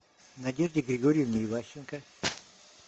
надежде григорьевне иващенко